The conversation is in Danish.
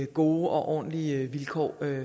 gode og ordentlige vilkår